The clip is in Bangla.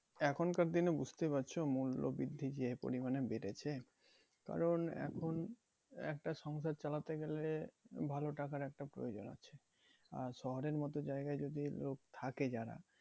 এখনকার দিনে বুঝতেই পারছো মূল্য বৃদ্ধি যে পরিমানে বেড়েছে কারণ এখন একটা সংসার চালাতে গেলে ভালো টাকার একটা প্রয়োজন আছে। আর শহরের মতো জায়গায় যদি লোক থাকে যারা